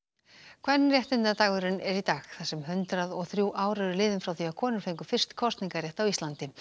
kvenréttindadagurinn er í dag þar sem hundrað og þrjú ár eru liðin frá því að konur fengu fyrst kosningarétt á Íslandi